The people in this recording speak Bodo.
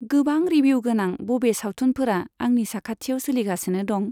गोबां रिभिउ गोनां बबे सावथुनफोरा आंनि साखाथियाव सोलिगासिनो दं?